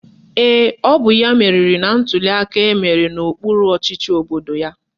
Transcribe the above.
Ee, ọ bụ ya meriri na ntuliaka emere n'okpuru ọchịchị obodo ya